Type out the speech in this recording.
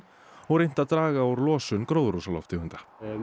og reynt að draga úr losun gróðurhúsalofttegunda